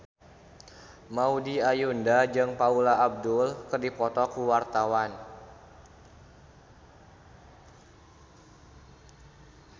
Maudy Ayunda jeung Paula Abdul keur dipoto ku wartawan